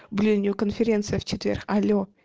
блин у нее конференция в четверг алло